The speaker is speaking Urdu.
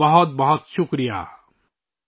بہت بہت شکریہ !